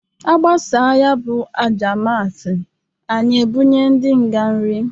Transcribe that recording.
Agbasa ya bụ Aja Misa, anyị ebunye ndị nga nrị.